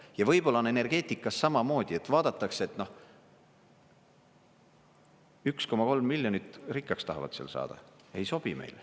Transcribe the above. Ja võib-olla on energeetikas samamoodi, et vaadatakse, et 1,3 miljonit, rikkaks tahavad seal saada, ei sobi meile.